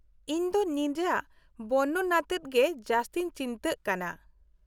-ᱤᱧᱫᱚ ᱱᱤᱡᱟᱜ ᱵᱚᱨᱱᱚᱱ ᱟᱛᱮᱫ ᱜᱮ ᱡᱟᱹᱥᱛᱤᱧ ᱪᱤᱱᱛᱟᱹᱜ ᱠᱟᱱᱟ ᱾